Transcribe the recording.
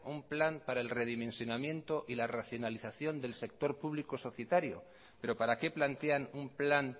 un plan para el redimensionamiento y la racionalización del sector público societario pero para qué plantean un plan